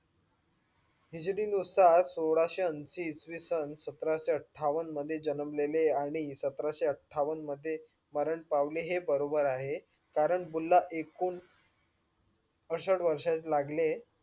हिजीरी नुसर सोळसे अंशी इसविसन स्त्रसे अत्ता वन मध्ये जन्मले आणि सतरसे आत्ता वन मध्ये मरण पावले हे बरोबर आहे. कारण बुल्ला एकोण पासेस्त वर्ष लागले